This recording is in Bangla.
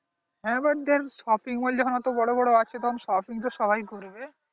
যে shopping mall অত বড় বড় আছে তো shopping তো সবাই করবে